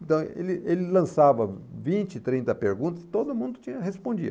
Então, ele ele lançava vinte, trinta perguntas e todo mundo tinha, respondia.